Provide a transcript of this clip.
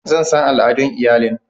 Zan san al'adun iyalin.